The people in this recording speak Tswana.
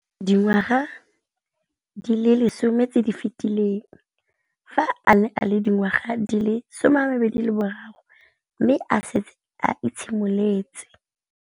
Dingwaga di le 10 tse di fetileng, fa a ne a le dingwaga di le 23 mme a setse a itshimoletse